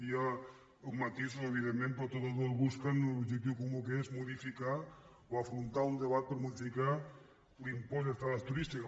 hi ha matisos evidentment però totes dues busquen un objectiu comú que és modificar o afrontar un debat per modificar l’impost d’estades turístiques